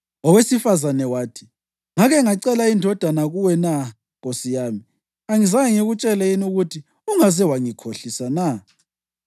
Owesifazane wathi, “Ngake ngacela indodana kuwe na, nkosi yami? Angizange ngikutshele yini ukuthi ungaze wangikhohlisa na?”